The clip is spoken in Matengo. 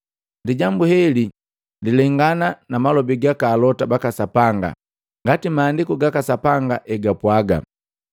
Lijambu heli lilengana na malobi gaka alota baka Sapanga, ngati Maandiku gaka Sapanga hegapwaga.”